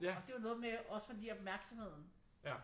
Og det er jo noget med også fordi opmærksomheden